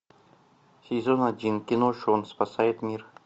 сезон один кино шон спасает мир